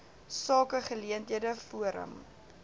sake geleenthede forum